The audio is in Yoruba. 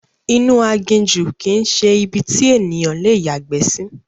Inú aginjù kìí ṣe ibi tí ènìyàn le yàgbẹ́ sí